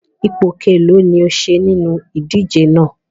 Ipò kelọ̀ọ́ ni o ṣe nínú ìdíje náà?